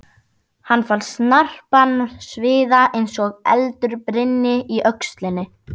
Hann fann snarpan sviða eins og eldur brynni í öxlinni.